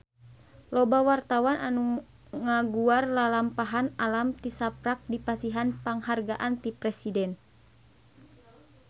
Loba wartawan anu ngaguar lalampahan Alam tisaprak dipasihan panghargaan ti Presiden